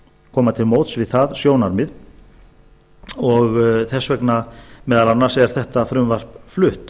koma til móts við það sjónarmið og þess vegna meðal annars er þetta frumvarp flutt